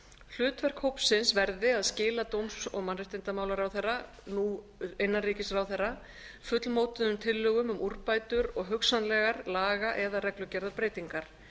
hlutverk hópsins verði að skila dóms og mannréttindaráðherra nú innanríkisráðherra fullmótuðum tillögum um úrbætur og hugsanlegar laga eða reglugerðarbreytingar